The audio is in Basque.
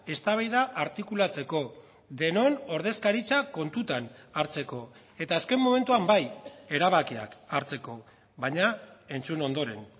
eztabaida artikulatzeko denon ordezkaritza kontutan hartzeko eta azken momentuan bai erabakiak hartzeko baina entzun ondoren